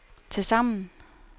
tilsammen